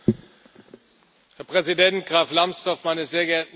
Herr Präsident Graf Lambsdorff, meine sehr geehrten Damen und Herren!